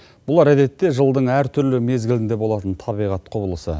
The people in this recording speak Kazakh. бұлар әдетте жылдың әртүрлі мезгілінде болатын табиғат құбылысы